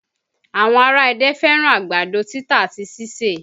Àwọn ará Ẹdẹ fẹ́ràn àgbàdo títa àti síse